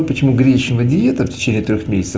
ну почему гречневая диета в течение четырёх месяцев